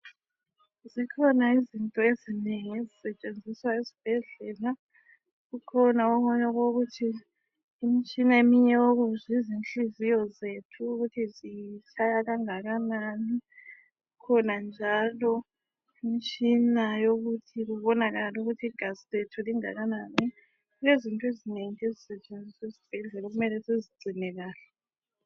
Zikhona izinto ezinengi ezisetshenziswa esibhedlela, kukhona okunye okokuthi imitshina eminye eyokukuzwa izinhliziyo zethu ukuthi zitshaya kangakanani. Kukhona njalo imitshina yokuthi kubonakale ukuthi igazi lethu lingakanani. Kulezinto ezinengi ezisetshenziswa esibhedlela okumele sizigcine kahle.